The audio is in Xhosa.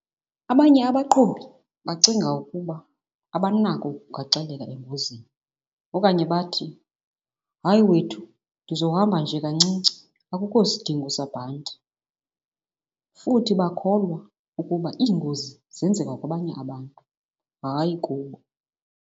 Abanye abaqhubi bacinga ukuba abanako ukugaxaleka engozini okanye bathi, hayi wethu ndizohamba nje kancinci akukho sidingo sabhanti. Futhi bakholwa ukuba iingozi zenzeka kwabanye abantu hayi kubo.